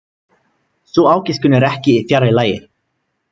Sú ágiskun er ekki fjarri lagi.